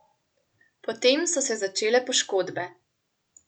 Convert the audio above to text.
Potem so se začele poškodbe.